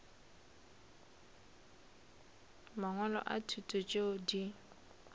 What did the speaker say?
mangwalo a thuto tšeo di